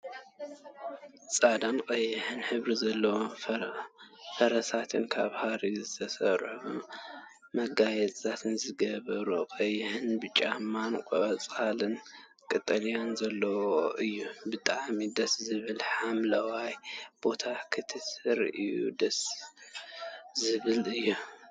ፃዕዳን ቀያሕን ሕብሪ ዘለዎ ፈረሳት ካብ ሃሪ ዝትሰርሑ መጋየፅታት ዝገበሩ ቀይሕን ብጫን ቆፃልን ቀጠልያን ዘለዎ እዩ። ብጣዕሚ ደስ ዝብል ሓምለዋይ ቦታ ክትርእዮ ደሰ ዝብል እዩ።